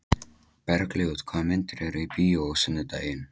Bergljót, hvaða myndir eru í bíó á sunnudaginn?